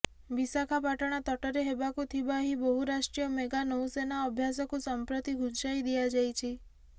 ବିଶାଖାପାଟଣା ତଟରେ ହେବାକୁ ଥିବା ଏହି ବହୁ ରାଷ୍ଟ୍ରୀୟ ମେଗା ନୌସେନା ଅଭ୍ୟାସକୁ ସଂପ୍ରତି ଘୁଞ୍ଚାଇ ଦିଆଯାଇଛି